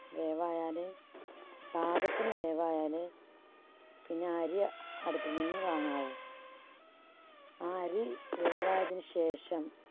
വേവായാലേ പാകത്തിന് വേവായാലേ പിന്നെ അരി അ~അടുപ്പിൽ നിന്ന് വാങ്ങാവൂ. ആ അരി വേവായതിന് ശേഷം